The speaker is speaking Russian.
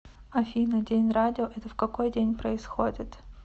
афина день радио это в какой день происходит